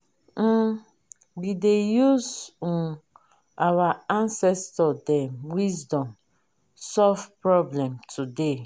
um we dey use um our ancestor dem wisdom solve problem today